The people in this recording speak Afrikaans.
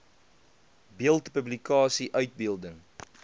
beeld publikasie uitbeelding